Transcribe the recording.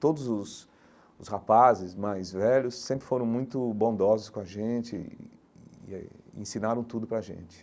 Todos os os rapazes mais velhos sempre foram muito bondosos com a gente e e e eh e ensinaram tudo pra gente.